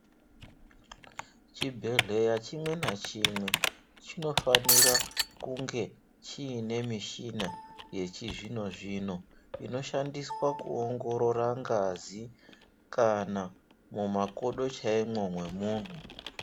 Chibhedhleya chimwe nachimwe chinofanira kunge chiine mishina yechizvino-zvino. Inoshandiswa kuongorora ngazi kana mumakodo chaimwo memuntu.